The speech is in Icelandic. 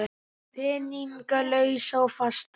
Peninga lausa og fasta?